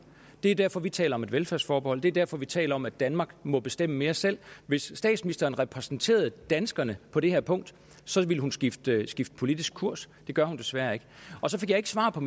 det er derfor vi taler om et velfærdsforbehold det er derfor vi taler om at danmark må bestemme mere selv hvis statsministeren repræsenterede danskerne på det her punkt ville hun skifte skifte politisk kurs det gør hun desværre ikke så fik jeg ikke svar på